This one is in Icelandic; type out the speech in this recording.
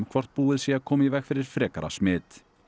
hvort búið sé að koma í veg fyrir frekara smit